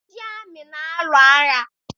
Ndị amị na-alụ agha